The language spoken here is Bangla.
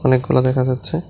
খোলা দেখা যাচ্ছে।